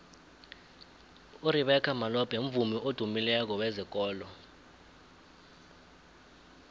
urebeca malope mvumi odumileko wezekolo